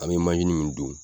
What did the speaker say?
An bɛ manzini min dun